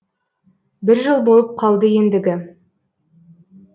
бір жыл болып қалды ендігі